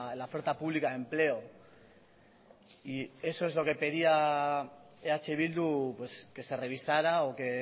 la oferta pública de empleo y eso es lo que pedía eh bildu que se revisara o que